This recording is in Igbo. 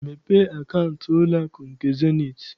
Mepee akaụntụ n'ụlọakụ nke Zenith!